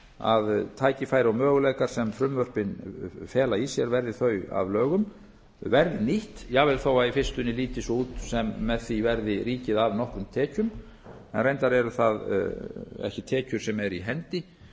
þess að tækifæri og möguleikar sem frumvörpin fela í sér verði þau að lögum verði nýtt jafnvel þó að í fyrstunni líti svo út sem með því verði ríkið af nokkrum tekjum reyndar eru það ekki tekjur sem eru í hendi og fyrst